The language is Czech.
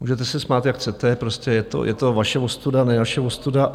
Můžete se smát, jak chcete, prostě je to vaše ostuda, ne naše ostuda.